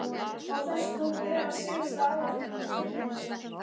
Á þessu tók að bera síðasta árið í Tröllanesi.